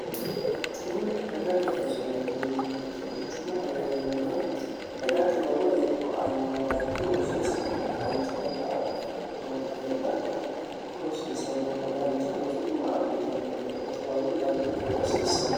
quchumu dagate rosu mini yineemoti quchumo heerannona dagate lowo iriko aannoha dancha rosiisano dancha roso haadhe fultinori heedhana kuri rosiisannono dancha rosu guma abbitanno gede rosaano danchu garii rosiissanno